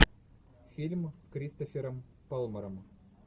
фильм с кристофером пламмером